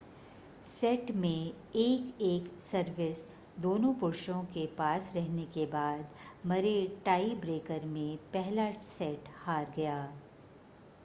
set में एक-एक service दोनों पुरुषों के पास रहने के बाद मरे टाई ब्रेकर में पहला सेट हार गया